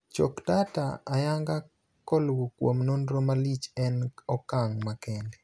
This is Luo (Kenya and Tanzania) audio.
Choko data ayanga koluo kuom nonro malich en okang' makende.